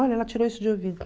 Olha, ela tirou isso de ouvido.